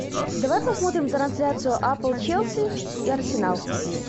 давай посмотрим трансляцию апл челси и арсенал